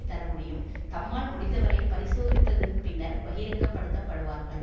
தரமுடியும் தம்மால் முடிந்தவரை பரிசோதித்ததின் பின்னர் பகிரங்கப் படுத்தப்படுவார்கள்